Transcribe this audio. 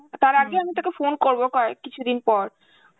তার আগে আমি তোকে phone করব কয়েক~ কিছুদিন পর,